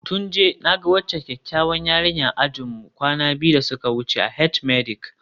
Tunji, na ga waccan kyakkyawar yarinyar a ajinmu kwana biyu da suka wuce a H-medic